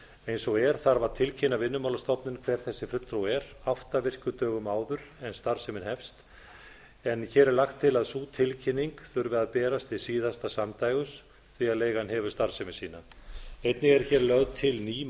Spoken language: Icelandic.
eins og er þarf að tilkynna vinnumálastofnun hver þessi fulltrúi er átta virkum dögum áður en starfsemin hefst en hér er lagt til að sú tilkynning þurfi að berast hið síðasta samdægurs því leigan hefur starfsemi sína einnig er hér lögð til ný